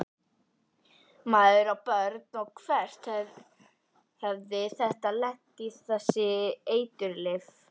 Maður á börn og hvert hefði þetta lent, þessi eiturlyf?